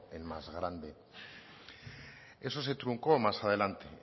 el más grande eso se truncó más adelante